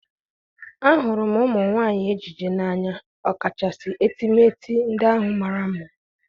ahụrụ m ụmụ nwanyị ejiji n'anya, ọkachasị etemeete ndị ahụ mara mma.